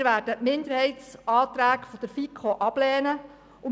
Wir werden den FiKo-Minderheitsantrag ablehnen.